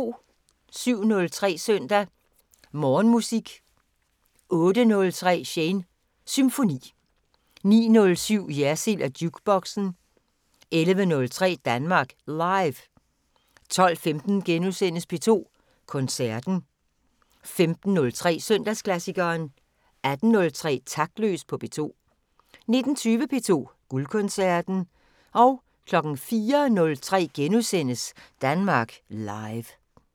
07:03: Søndag Morgenmusik 08:03: Shanes Symfoni 09:07: Jersild & Jukeboxen 11:03: Danmark Live 12:15: P2 Koncerten * 15:03: Søndagsklassikeren 18:03: Taktløs på P2 19:20: P2 Guldkoncerten 04:03: Danmark Live *